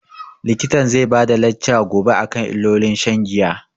Likitan zai bada lacca gobe akan illolin shan giya